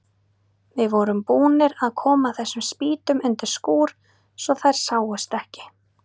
Við vorum búnir að koma þessum spýtum undir skúr svo þær sáust ekki.